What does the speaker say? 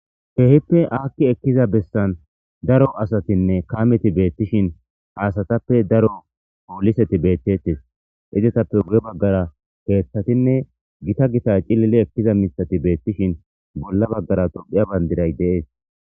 Heehippe aakki ekkiza bessan daro asatinne kaameti beettishin haasatappe daro ooliseti beettettes izetappe gure baggara keeththatinne gita gita cilili ekkiza misati beettishin bolla baggara tophiya bandiray dees.